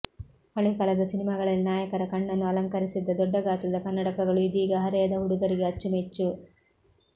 ಹಳೆ ಕಾಲದ ಸಿನಿಮಾಗಳಲ್ಲಿ ನಾಯಕರ ಕಣ್ಣನ್ನು ಅಲಂಕರಿಸಿದ್ದ ದೊಡ್ಡ ಗಾತ್ರದ ಕನ್ನಡಕಗಳು ಇದೀಗ ಹರೆಯದ ಹುಡುಗರಿಗೆ ಅಚ್ಚುಮೆಚ್ಚು